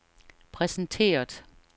præsenteret